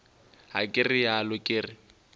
ga ke realo ke re